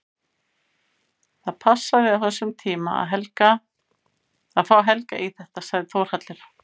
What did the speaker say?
Það passaði á þessum tíma að fá Helga í þetta, sagði Þórhallur.